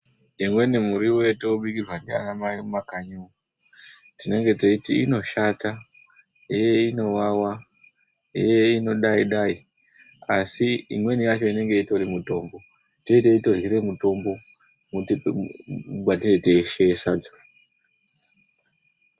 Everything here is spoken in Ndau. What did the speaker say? Imweni miriwo yatinobikirwa naanamai mumakanyi umwo, tinenge tichiti inoshata, hee inowawa, hee inodayi dayi. Asi imweni yacho, inenge itori mitombo. Tinenge tichitorye mitombo mwetinenge teisheye sadza.